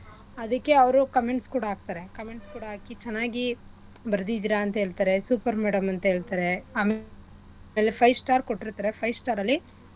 ಅದಿಕ್ಕೆ ಅವ್ರ್ comments ಕೂಡ ಹಾಕ್ತರೆ comments ಕೂಡ ಹಾಕಿ ಚೆನ್ನಾಗಿ ಬರ್ದಿದಿರ ಅಂತ ಹೇಳ್ತರೆ super madam ಅಂತ ಹೇಳ್ತಾರೆ ಆಮೇಲೆ five star ಕೊಟ್ಟಿರ್ತರೆ five star ಅಲ್ಲಿ.